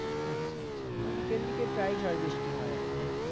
আচ্ছা আচ্ছা মানে বিকেল দিকে প্রায় ঝড় বৃষ্টি হয় আর কি।